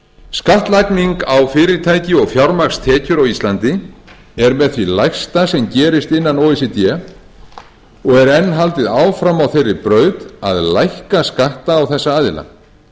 skattlagning á fyrirtæki og fjármagnstekjur á íslandi er með því lægsta sem gerist innan o e c d og er enn haldið áfram á þeirri braut að lækka skatta á þessa aðila